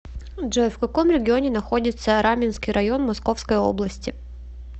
джой в каком регионе находится раменский район московской области